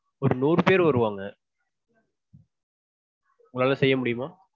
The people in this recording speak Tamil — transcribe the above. ஒரு நூறு பேர் வருவாங்க. உங்களால செய்ய முடியுமா?